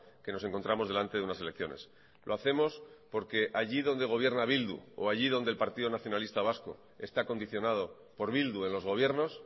que nos encontramos delante de unas elecciones lo hacemos porque allí donde gobierna bildu o allí donde el partido nacionalista vasco está condicionado por bildu en los gobiernos